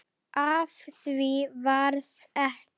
Af því varð ekki.